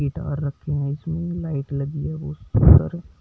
Guitar रखी हुई है इसमें लाइट लगी हुई है।